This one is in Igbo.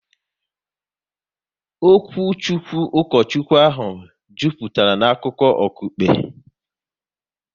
Okwuchukwu Ukochukwu ahụ jupụtara na akụkọ okukpe